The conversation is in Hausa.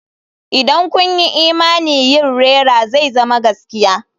Idan kun yi imani yin rera zai zama gaskiya.